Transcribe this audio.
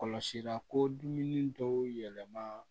Kɔlɔsi la ko dumuni dɔw yɛlɛma